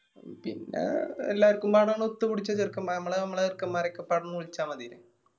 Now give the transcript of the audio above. പിന്ന എല്ലാര്ക്കും വേണോനെ ഒത്തുപിടിച്ച ചെറുക്കന്മാര് ഞമ്മള് ഞമ്മളെ ചെറുക്കൻമാരെ ഒക്കെ ഇപ്പൊ ആടന്നു വിളിച്ചാ മതി.